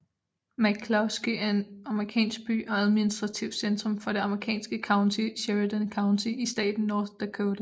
McClusky er en amerikansk by og administrativt centrum for det amerikanske county Sheridan County i staten North Dakota